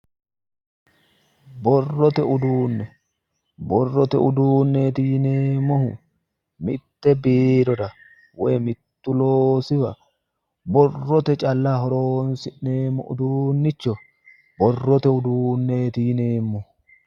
Borrote uduunne borrote udunneeti yineemmohu mitte biirora woyi mittu loosiwa borroye calla horonsi'neemmo uduunnicho borrote udunneeti yineemmo